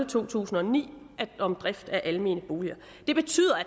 to tusind og ni om drift af almene boliger det betyder at